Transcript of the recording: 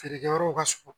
Feerekɛyɔrɔw ka surun